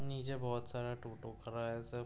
नीचे बोहोत सारा टोटो खरा है सब।